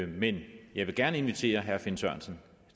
men jeg vil gerne invitere herre finn sørensen